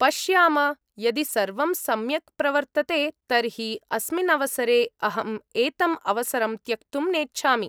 पश्याम यदि सर्वं सम्यक् प्रवर्तते तर्हि अस्मिन् अवसरे अहं एतम् अवसरं त्यक्तुं नेच्छामि।